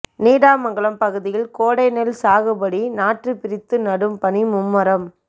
நீடாமங்கலம் பகுதியில் கோடை நெல் சாகுபடி நாற்று பிரித்து நடும் பணி மும்முரம்